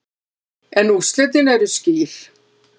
En úrslitin eru skýr.